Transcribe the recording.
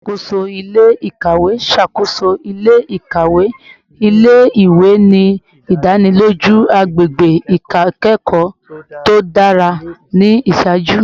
Alakoso ile-ikawe ṣakoso ile-ikawe ile-iwe, ni idaniloju agbegbe ikẹkọ to dara ni iṣaaju